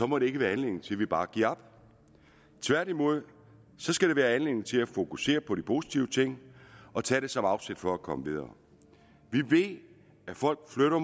må det ikke være anledning til at vi bare giver op tværtimod skal det være anledning til at fokusere på de positive ting og tage det som afsæt for at komme videre vi ved at folk flytter